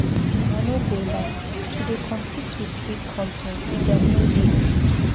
I no go lie, to dey compete wit big company dem no dey easy.